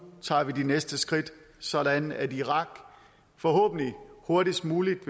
tager vi de næste skridt sådan at irak forhåbentlig hurtigst muligt